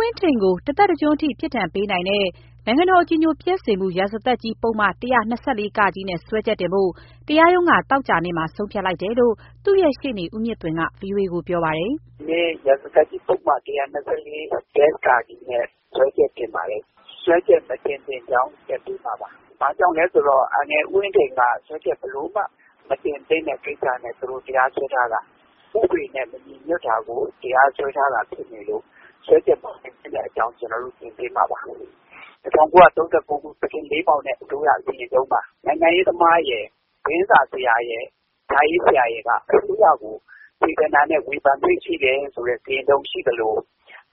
ဝင်းထိန်ကို တသက်တကျွန်းထိ ပြစ်ဒဏ်ပေးနိုင်တဲ့ နိုင်ငံတော်အကြည်ညိုပျက်စေမှု ရာဇသတ်ကြီးပုဒ်မ ၁၂၄ နဲ့ စွဲချက်တင်ဖို့ တရားရုံးက သောကြာနေ့မှာ ဆုံးဖြတ်လိုက်တယ်လို့ သူ့ရှေ့နေ ဦးမြင့်သွင်က ဗွီအိုအေကိုပြောပါတယ်။ "ရာဇသတ်ကြီးပုဒ်မ ၁၂၄ နဲ့ စွဲချက်တင်ပါတယ်၊ စွဲချက်မတင်သင့်ကြောင်း တက်ပေးမှာပါ။ ဘာကြောင့်လဲဆိုတော့ အန်ကယ်ဦးဝင်းထိန်ကို ဘာကြောင့်မှ စွဲချက်မတင်သင့်တာနဲ့ တရားစွဲထားတာပါ။ ဥပဒေနဲ့ မညီညွတ်တာကို တရားစွဲထားတာဖြစ်နေလို့ စွဲချက်မတင်သင့်တဲ့အကြောင်း ကျနော်တို့တင်ပေးမှာပါ။ ၁၉၃၉ ခု သခင်အေးမောင်နဲ့ အစိုးရစီရင်ထုံးမှာ နိုင်ငံရေးသမားရယ်။ သတင်းစာဆရာရယ် စာရေးဆရာရယ်က အစိုးရကို စေတနာနဲ့ ဝေဖန်ခွင့်ရှိတယ်ဆိုတဲ့ စီရင်ထုံးရှိသလို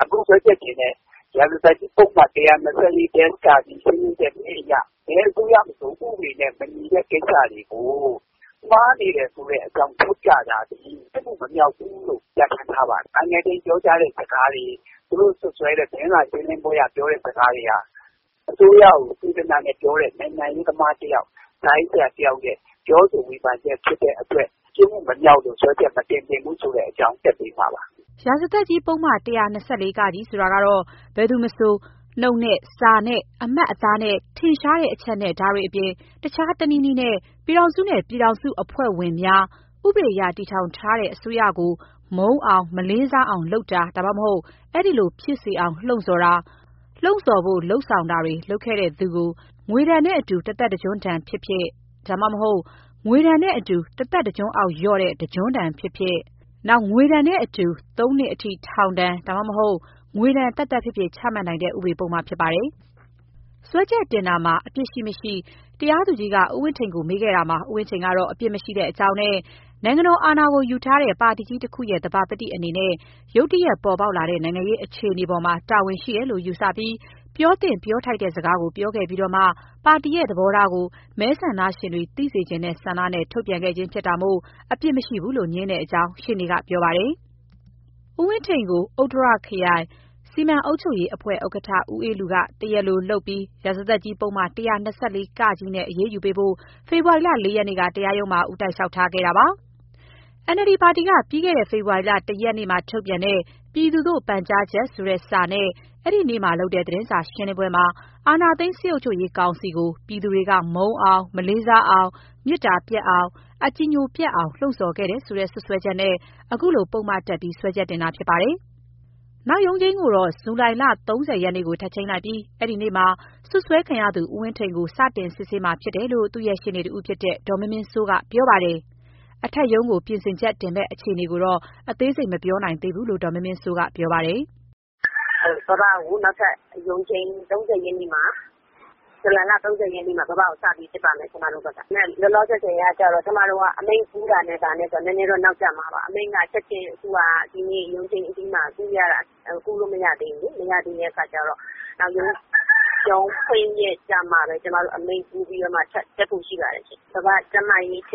အခုတရားစွဲတဲ့ ရာဇသတ်ကြီးပုဒ်မ ၁၂၄- က ရှင်းလင်းချက် ၁ အရ ဘယ်အစိုးရမဆို ဥပဒေနဲ့ မညီတဲ့ကိစ္စတွေကို မှားနေတယ်ဆိုတဲ့အကြောင်းထောက်ပြတာသည် ပြစ်မှုမမြောက်ဘူးလို့ ပြဌာန်းထားပါတယ်။ အန်ကယ်ဦးဝင်းထိန်ပြောတဲ့စကားတွေ သူတို့စွပ်စွဲတဲ့ သတင်းစာရှင်းလင်းပွဲစ ကားတွေဟာ သူတို့ကိုစေတနာနဲ့ပြောတဲ့ နိုင်ငံရေးသမားတယောက်စာရေးစရာတယောက်ရဲ့ စကားတွေဟာ စေတနာနဲ့ပြောတဲ့ ပြောဆိုဝေဖန်ချက်ဖြစ်တဲ့ အတွက် ပြစ်မှုမမြောက်တဲ့အတွက် စွဲချက်မတင်သင့်ကြောင်းတက်ပေးမှာပါ။" ရာဇသတ်ကြီးပုဒ်မ ၁၂၄ ဆိုတာ ဘယ်သူမဆို နှုတ်နဲ့၊ စာနဲ့၊ အမှတ်အသားနဲ့၊ ထင်ရှားတဲ့အချက်နဲ့ ဒါတွေအပြင် တခြားတနည်းနည်းနဲ့ပြည်ထောင်စုနဲ့ ပြည်ထောင်စုအဖွဲ့ဝင်များ၊ ဥပဒေအရ တည်ထောင်ထားတဲ့ အစိုးရကို မုန်းအောင်၊ မလေးစားအောင်လုပ်တာ ဒါမှမဟုတ် အဲဒီလိုဖြစ်စေအောင်လှုံ့ဆာ်တာ၊ လှုံ့ဆော်ဖို့ လုပ်ဆောင်တာတွေ လုပ်ခဲ့သူကို ငွေဒဏ်နဲ့အတူတသက်တကျွန်းဒဏ်ဖြစ်ဖြစ်၊ ဒါမှမဟုတ် ငွေဒဏ်နဲ့အတူ တသက်တကျွန်းအောက်လျော့တဲ့ တကျွန်းဒဏ်ဖြစ်ဖြစ်၊ ငွေဒဏ်နဲ့အတူ သုံးနှစ်အထိ ထောင်ဒဏ်ဖြစ်ဖြစ်၊ ငွေဒဏ်သက်သက်ဖြစ်ဖြစ် ချမှတ်နိုင်တဲ့ ဥပဒေပုဒ်မဖြစ်ပါတယ်။ စွဲချက်တင်တာမှာ အပြစ်ရှိမရှိ တရားသူကြီးက ဦးဝင်းထိန်ကိုမေးခဲ့တာမှာ ဦးဝင်းထိန်ကတော့ အပြစ်မရှိကြောင်းနဲ့ နိုင်ငံတော်အာဏာကိုယူထားတဲ့ ပါတီကြီးတခုရဲ့ သဘာပတိအနေနဲ့ ရုတ်တရက်ပေါ်ပေါက်လာတဲ့ နိုင်ငံရေးအခြေအနေပေါ်မှာ တာဝန်ရှိတယ်လို့ယူဆပြီး ပြောသင့်၊ ပြောထိုက်တဲ့စကားကို ပြောခဲ့ပြီးတော့မှ ပါတီရဲ့သဘောထားကို မဲဆန္ဒရှင်တွေ သိစေချင်တဲ့ဆန္ဒနဲ့ ထုတ်ပြန်ခဲ့ခြင်းဖြစ်တာမို့ အပြစ်မရှိဘူးလို့ ငြင်းတဲ့အကြောင်း ရှေ့နေကပြောပါတယ်။ ဦးဝင်းထိန်ကို ဥတ္တရခရိုင်၊ စီမံအုပ်ချုပ်ရေးအဖွဲ့ဥက္ကဋ္ဌ ဦးအေးလူက တရားလိုလုပ်ပြီး ရာဇသတ်ကြီးပုဒ်မ ၁၂၄ နဲ့ အရေးယူပေးဖို့ ဖေဖော်ဝါရီလ ၄ ရက်နေ့က တရားရုံးမှာ ဦးတိုက်လျှောက်ထားခဲ့တာပါ။ NLD ပါတီက ပြီးခဲ့တဲ့ ဖေဖော်ဝါရီလ ၁ ရက်နေ့ထုတ်တဲ့ ပြည်သူသို့ပန်ကြားချက် ဆိုတဲ့စာနဲ့ အဲဒီနေ့မှာလုပ်တဲ့သတင်းစာရှင်းလင်းပွဲမှာ အာဏာသိမ်း စစ်အုပ်ချုပ်ရေးကောင်စီကို ပြည်သူတွေက မုန်းအောင်၊ မလေးစားအောင်၊ မေတ္တာပျက်အောင်၊ အကြည်ညိုပျက်အောင် လှုံ့ဆော်ခဲ့တယ်ဆိုတဲ့ စွပ်စွဲချက်နဲ့ အခုလို ပုဒ်မတပ်ပြီး စွဲချက်တင်ခဲ့တာဖြစ်ပါတယ်။ နောက်ရုံးချိန်းကိုတော့ ဇူလိုင် ၃၀ ရက်နေ့ကို ထပ်ချိန်းလိုက်ပြီး အဲဒီနေ့မှာ စွပ်စွဲခံရသူ ဦးဝင်းထိန်ကို စတင်စစ်ဆေးမှာလို့ သူ့ ရှေ့နေတဦးဖြစ်တဲ့ ဒေါ်မင်းမင်းစိုးကပြောပါတယ်။ အထက်ရုံးကိုပြင်ဆင်ချက်တက်မယ့်အခြေအနေကိုတော့ အသေးစိတ် မပြောနိုင်သေးဘူးလို့ ဒေါ်မင်းမင်းစိုးကပြောပါတယ်။ "ဘဘကို ဇူလိုင်လ ၃၀ ရက်နေ့မှ စပြီး စစ်ပါမယ်။ လောလောဆယ်ကတော့ အမိန့်ကူးတာနဲ့ နည်းနည်းတော့နောက်ကျမှာပါ။ အမိန့်က ချက်ချင်း ဒီနေ့ရုံးချိန်းအပြီး ကူးလို့မရသေးဘူးလေ။ နောက်ရုံးဖွင့်ရက်မှ အမိန့်ကိုကူးပြီး အထက်ကိုတက်ဖို့ရှိပါတယ်။ ဘဘကျန်းမာရေးက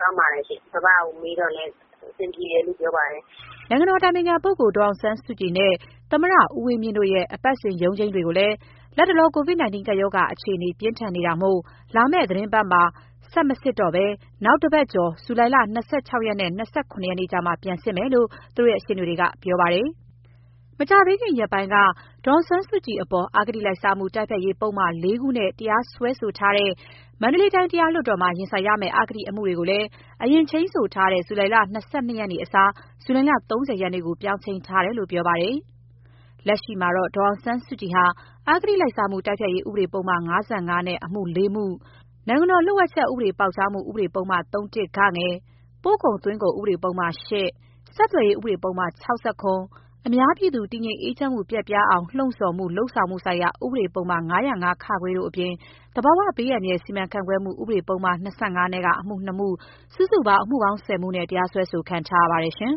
ကောင်းပါတယ်။ ဘဘကိုမေးတာလည်း အဆင်ပြေတယ်လို့ ပြောပါတယ်။" နိုင်ငံတော်အတိုင်ပင်ခံပုဂ္ဂိုလ် ဒေါ်အောင်ဆန်းစုကြည်နဲ့ သမ္မတဦးဝင်းမြင့်တို့ရဲ့ အပတ်စဉ်ရုံးချိန်းတွေကိုလည်း လတ်တလော ကိုဗစ်-၁၉ ကပ်ရောဂါအခြေအနေ ပြင်းထန်နေတာမို့လာမယ့်သီတင်းပတ်မှာ ဆက်မစစ်ဘဲ နောက်တပတ်ကျော် ဇူလိုင် ၂၆ ရက်နဲ့ ၂၇ ရက်မှ ပြန်စစ်မယ်လို့ သူတို့ရှေ့နေတွေကပြောပါတယ်။ မကြာသေးခင်ရက်ပိုင်းက ဒေါ်အောင်ဆန်းစုကြည်အပေါ် အဂတိလိုက်စားမှု တိုက်ဖျက်ရေးပုဒ်မ ၄ ခုနဲ့ တရားစွဲဆိုထားတဲ့ မန္တလေးတိုင်းတရားလွှတ်တော်မှာ ရင်ဆိုင်ရမယ့် အဂတိအမှုတွေကိုလည်း အရင်ချိန်းဆိုထားတဲ့ ဇူလိုင် ၂၂ ရက်အစား ဇူလိုင် ၃၀ ရက်ကို ပြောင်းချိန်းထားတယ်လို့ ပြောပါတယ်။ လက်ရှိမှာတော့ ဒေါ်အောင်ဆန်းစုကြည်ဟာ အဂတိလိုက်စားမှု တိုက်ဖျက်ရေးဥပဒေပုဒ်မ ၅၅ နဲ့ အမှု ၄မှု၊ အစိုးရလျှို့ဝှက်ချက်ပေါက်ကြားမှုဥ ပဒေပုဒ်မ ၃ ၊ပို့ကုန်သွင်းကုန်ဥပဒေပုဒ်မ ၈ ၊ ဆက်သွယ်ရေး ဥပဒေပုဒ်မ ၆၇ ၊ အများပြည်သူ တည်ငြိမ်အေးချမ်းမှု ပျက်ပြားအောင်လှုံ့ဆော်မှု လုပ်ဆောင်မှုဆိုင်ရာ ဥပဒေပုဒ်မ ၅၀၅ တို့အပြင် သဘာဝဘေးအန္တရာယ် စီမံခန့်ခွဲမှု ဥပဒေပုဒ်မ ၂၅ နဲ့ အမှု ၂ ခု စုစုပေါင်း အမှု ၁၀မှုနဲ့ တရားစွဲဆိုခံထားရပါတယ်။